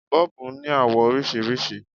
Bọ́ọ̀bù ní àwọ̀ oríṣiríṣi.